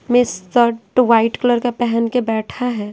में shirt white colour का पहन के बैठा है।